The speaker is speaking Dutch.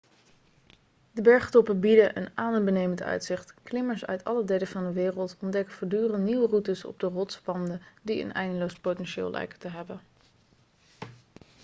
de bergtoppen bieden een adembenemend uitzicht klimmers uit alle delen van de wereld ontdekken voortdurend nieuwe routes op de rotswanden die een eindeloos potentieel lijken te hebben